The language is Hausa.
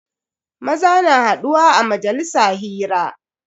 Maza na haduwa a majalisa hira.